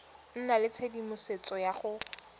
nna le tshedimosetso ya go